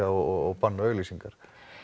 og banna auglýsingar